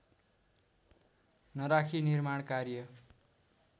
नराखी निर्माण कार्य